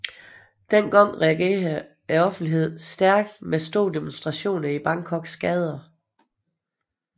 Denne gang reagerede offentligheden stærkt med store demonstrationer i Bangkoks gader